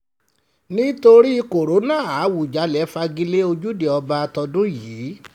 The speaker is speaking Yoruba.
nítorí kóńtà àwùjalè fagi lé ojúde ọba tọdún yìí